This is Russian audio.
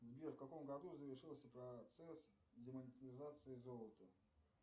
сбер в каком году завершился процесс демонетизации золота